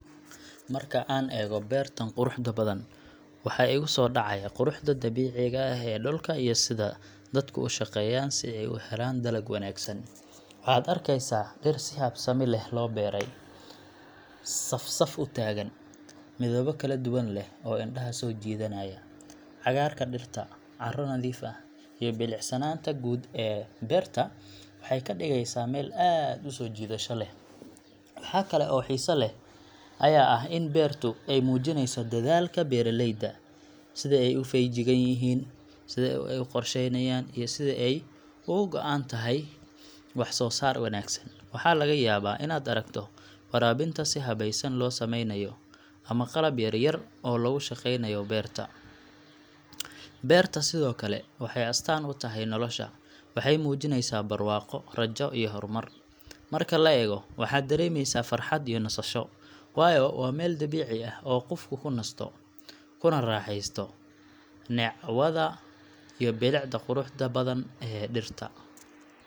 Marka aan eego beertan quruxda badan, waxa igu soo dhacaya quruxda dabiiciga ah ee dhulka iyo sida dadku u shaqeeyaan si ay u helaan dalag wanaagsan. Waxaad arkeysaa dhir si habsami leh loo beeray, saf-saf u taagan, midabo kala duwan leh oo indhaha soo jiidanaya. Cagaarka dhirta, carro nadiif ah, iyo bilicsanaanta guud ee beerta waxay ka dhigaysaa meel aad u soo jiidasho leh. Wax kale oo xiiso leh ayaa ah in beertu ay muujinayso dadaalka beeraleyda sida ay u feejigan yihiin, sida ay u qorsheeyaan, iyo sida ay uga go’an tahay wax-soo-saar wanaagsan. Waxaa laga yaabaa inaad aragto waraabinta si habaysan loo sameynayo, ama qalab yar yar oo lagu shaqeynayo beerta. Beertu sidoo kale waxay astaan u tahay nolosha waxay muujinaysaa barwaaqo, rajo iyo horumar. Marka la eego, waxaad dareemaysaa farxad iyo nasasho, waayo waa meel dabiici ah oo qofku ku nasto, kuna raaxaysto neecawda iyo bilicda quruxda badan ee dhirta.